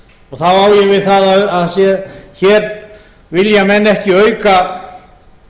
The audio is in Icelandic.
og þá á ég við það að hér vilja menn ekki auka